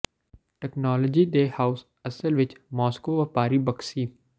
technology ਦੇ house ਅਸਲ ਵਿੱਚ ਮਾਸ੍ਕੋ ਵਪਾਰੀ ਬਕ ਸੀ